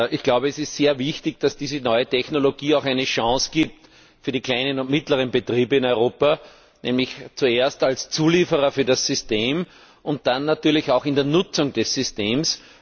Ich glaube, es ist sehr wichtig, dass diese neue Technologie auch den kleinen und mittleren Betrieben in Europa eine Chance gibt, nämlich zuerst als Zulieferer für das System und dann natürlich auch in der Nutzung des Systems.